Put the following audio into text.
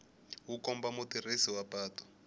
wu komba mutirhisi wa patu